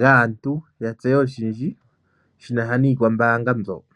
gaantu ya tseye oshindji shi na sha niikwambaanga mbyoka.